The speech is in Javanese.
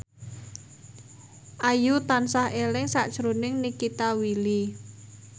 Ayu tansah eling sakjroning Nikita Willy